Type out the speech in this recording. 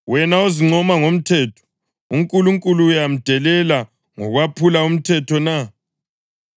Wena ozincoma ngomthetho, uNkulunkulu uyamdelela ngokwephula umthetho na?